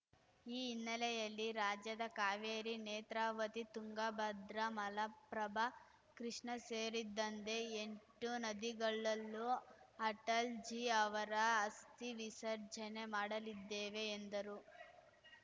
ಈ ಹಿನ್ನಲೆಯಲ್ಲಿ ರಾಜ್ಯದ ಕಾವೇರಿ ನೇತ್ರವಾತಿ ತುಂಗಭದ್ರ ಮಲಪ್ರಭ ಕೃಷ್ಣ ಸೇರಿದಂದೆ ಎಂಟು ನದಿಗಳಲ್ಲೂ ಅಟಲ್‌ ಜಿ ಅವರ ಅಸ್ಥಿ ವಿಸರ್ಜನೆ ಮಾಡಲಿದ್ದೇವೆ ಎಂದರು